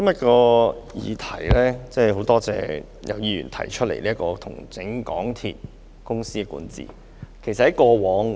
主席，我多謝今天有議員提出"重整港鐵公司管治"的議案。